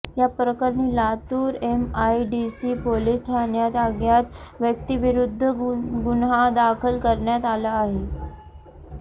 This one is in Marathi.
या प्रकरणी लातूर एमआयडीसी पोलीस ठाण्यात अज्ञात व्यक्तीविरुध्द गुन्हा दाखल करण्यात आला आहे